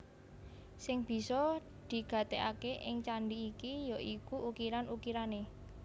Sing bisa digatekaké ing candhi iki ya iku ukiran ukirané